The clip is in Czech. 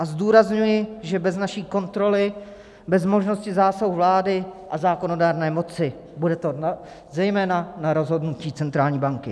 A zdůrazňuji, že bez naší kontroly, bez možnosti zásahu vlády a zákonodárné moci, to bude zejména na rozhodnutí centrální banky.